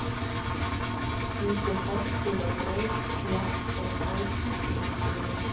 Ýtir fortíð á braut jafnt sem æsingi Lenu.